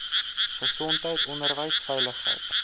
gesondheid onderwys veiligheid